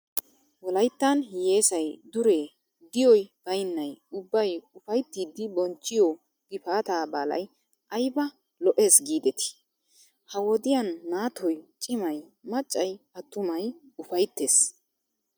Wolayittan hiyyeesayi dure diyoy bayinnayi ubbayi ufayittiddi bonchchiyoo gifaataa baalayi ayiba lo''es giideti. Ha wodiyan naatoyi cimayi maccayi attumayi ufayittes.